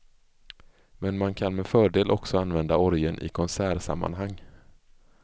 Men man kan med fördel också använda orgeln i konsertsammanhang.